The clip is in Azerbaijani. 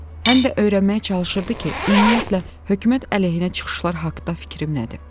həm də öyrənməyə çalışırdı ki, ümumiyyətlə, hökumət əleyhinə çıxışlar haqda fikrim nədir?